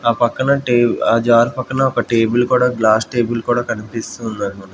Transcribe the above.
ఆ పక్కన టే ఆ జార్ పక్కన ఒక టేబుల్ కూడా గ్లాస్ టేబుల్ కూడా కన్పిస్తూ ఉందన్--